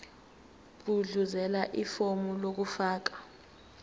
gudluzela ifomu lokufaka